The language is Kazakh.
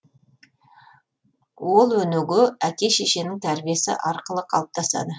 ол өнеге әке шешенің тәрбиесі арқылы қалыптасады